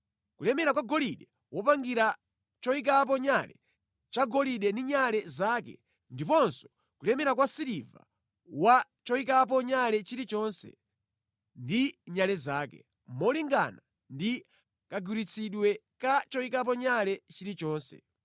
kulemera kwa golide wopangira choyikapo nyale chagolide ndi nyale zake; ndiponso kulemera kwa siliva wa choyikapo nyale chilichonse ndi nyale zake, molingana ndi kagwiritsidwe ka choyikapo nyale chilichonse;